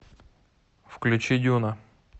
включи дюна